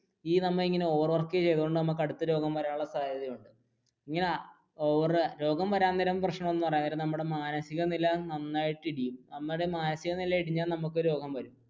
ഈ നമ്മൾ ഇങ്ങനെ overwork ചെയ്തതുകൊണ്ട് അടുത്ത രോഗം വരാനുള്ള സാധ്യത ഉണ്ട് രോഗം വരാൻ നേരം പ്രശ്നം എന്ന് പറയാൻ നേരം നമ്മുടെ മാനസിക നില നന്നായിട്ട് ഇടിയും നമ്മുടെ മാനസിക നില ഇടിഞ്ഞാൽ നമുക്ക് രോഗം വരും.